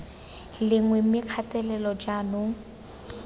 le nngwe mme kgatelelo jaanong